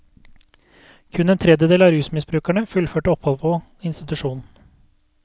Kun en tredjedel av rusmisbrukerne fullførte oppholdet på institusjon.